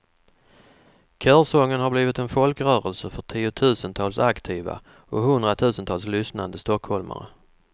Körsången har blivit en folkrörelse för tiotusentals aktiva och hundratusentals lyssnande stockholmare.